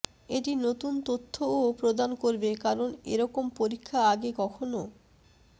এটি নতুন তথ্যও প্রদান করবে কারণ এরকম পরীক্ষা আগে কখনও